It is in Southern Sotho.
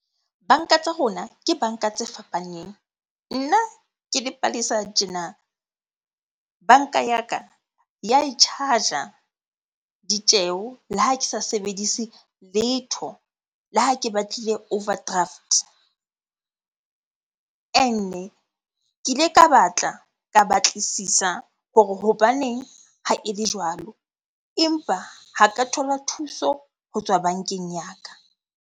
Banka tsa rona ke banka tse fapaneng. Nna ke le Palesa tjena, banka ya ka ya e charge-a ditjeho le ha ke sa sebedise letho, le ha ke batlile overdraft. Ke ke ile ka batla, ka batlisisa hore hobaneng ha ele jwalo empa ha ka thola thuso ho tswa bankeng ya ka.